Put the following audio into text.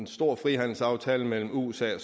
stor frihandelsaftale mellem usa og